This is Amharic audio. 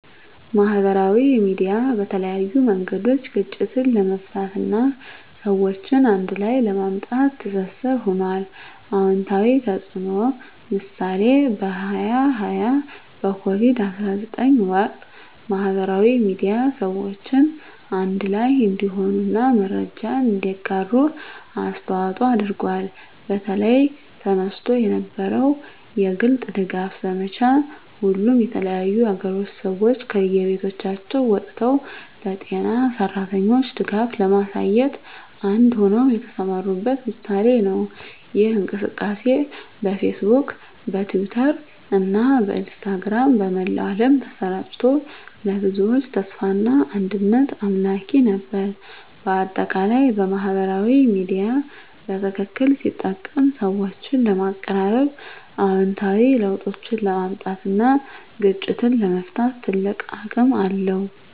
ማህበራዊ ሚዲያ በተለያዩ መንገዶች ግጭትን ለመፍታት እና ሰዎችን አንድ ላይ ለማምጣት ትስስር ሆኗል። #*አዎንታዊ ተፅዕኖ (ምሳሌ) በ2020 በኮቪድ-19 ወቅት፣ ማህበራዊ ሚዲያ ሰዎችን አንድ ላይ እንዲሆኑ እና መረጃን እንዲያጋሩ አስተዋፅዖ አድርጓል። በተለይ፣ ተነስቶ የነበረው የግልጽ ድጋፍ ዘመቻ፣ ሁሉም የተለያዩ አገሮች ሰዎች ከቤቶቻቸው ወጥተው ለጤና ሠራተኞች ድጋፍ ለማሳየት አንድ ሆነው የተሰማሩበት ምሳሌ ነው። ይህ እንቅስቃሴ በፌስቡክ፣ በትዊተር እና በኢንስታግራም በመላው ዓለም ተሰራጭቶ፣ ለብዙዎች ተስፋና አንድነት አምላኪ ነበር። በአጠቃላይ፣ ማህበራዊ ሚዲያ በትክክል ሲጠቀም ሰዎችን ለማቀራረብ፣ አዎንታዊ ለውጦችን ለማምጣት እና ግጭቶችን ለመፍታት ትልቅ አቅም አለው።